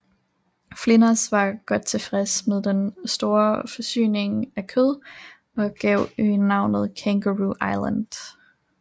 Flinders var godt tilfreds med den store forsyning af kød og gav øen navnet Kangaroo Island